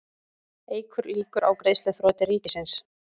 Eykur líkur á greiðsluþroti ríkisins